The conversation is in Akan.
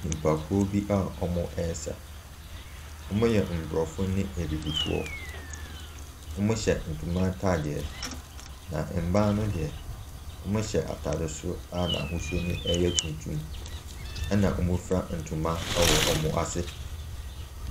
Nnipakuo bi a wɔresa. Wɔyɛ aborɔfo ne abibifoɔ. Wɔhyɛ ntoma ataadeɛ na mmaa no deɛ, wɔahyɛ ataade soro a n’ahosuo no yɛ tuntum na wɔafura ntoma wɔ wɔn ase.